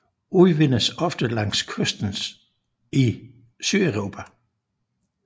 Udvindes ofte langs kysten i Sydeuropa